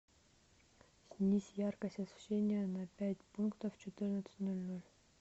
снизь яркость освещения на пять пунктов в четырнадцать ноль ноль